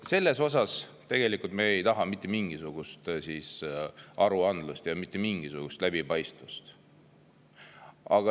Selles osas me ei taha mitte mingisugust aruandlust ja mitte mingisugust läbipaistvust.